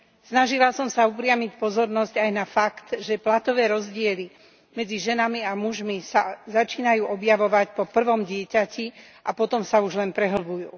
Snažila som sa upriamiť pozornosť aj na fakt, že platové rozdiely medzi ženami a mužmi sa začínajú objavovať po prvom dieťati a potom sa už len prehlbujú.